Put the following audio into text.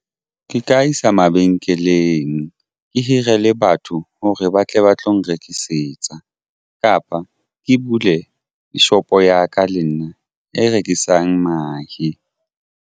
Ke ka isa mabenkeleng ke hire le batho hore ba tle ba tlo nrekisetsa kapa ke bule shopo ya ka le nna e rekisang mahe.